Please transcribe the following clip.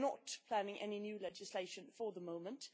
We are not planning any new legislation for the moment.